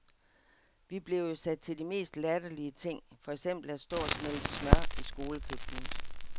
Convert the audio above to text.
Vi blev jo sat til de mest latterlige ting, for eksempel at stå og smelte smør i skolekøkkenet.